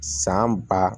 San ba